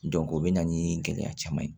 o bɛ na ni gɛlɛya caman ye